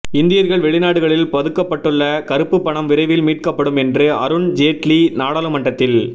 இந்தியர்கள் வெளிநாடுகளில் பதுக்கப்பட்டுள்ள கருப்புப் பணம் விரைவில் மீட்கப்படும் என்று அருண் ஜேட்லி நாடாளுமன்றத்தில்